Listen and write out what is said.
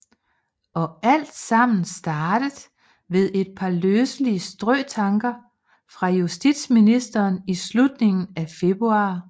Og altsammen startet ved et par løselige strøtanker fra justitsministeren i slutningen af februar